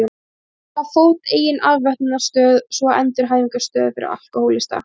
Að koma á fót eigin afvötnunarstöð, svo og endurhæfingarstöð fyrir alkóhólista.